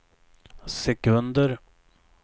sekunder